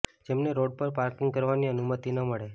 જેમને રોડ પર પાર્કિંગ કરવાની અનુમતિ ન મળે